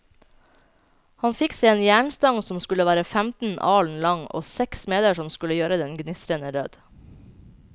Han fikk seg en jernstang som skulle være femten alen lang, og seks smeder som skulle gjøre den gnistrende rød.